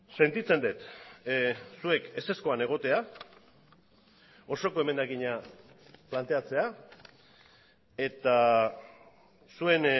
sentitzen dut zuek ezezkoan egotea osoko emendakina planteatzea eta zuen